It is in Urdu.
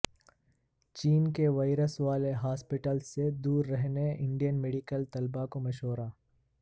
چین کے وائرس والے ہاسپٹلس سے دور رہنے انڈین میڈیکل طلبہ کو مشورہ